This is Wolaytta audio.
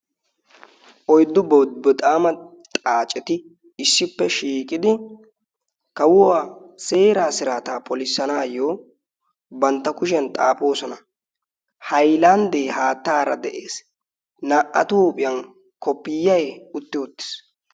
oiddu bobboxaama xaaceti issippe shiiqidi kawuwaa seeraa siraataa polissanaayyo bantta kushiyan xaafoosona hailanddee haattaara de7ees. naa77atuuphiyan kopiyai utti uttiis.